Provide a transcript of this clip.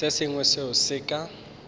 se sengwe seo se ka